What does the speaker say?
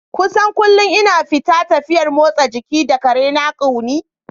Kusan kullum ina fita tafiyar motsa jiki da ƙarena Quinnie.